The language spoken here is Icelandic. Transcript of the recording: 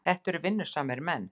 Þetta eru vinnusamir menn.